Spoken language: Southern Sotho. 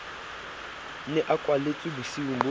ne a kwalletswe bosiung bo